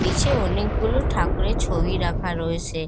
নিচে অনেকগুলো ঠাকুরের ছবি রাখা রয়েছে।